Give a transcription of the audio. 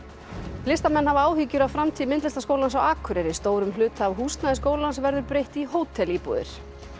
listamenn hafa áhyggjur af framtíð Myndlistaskólans á Akureyri stórum hluta af húsnæði skólans verður breytt í hótelíbúðir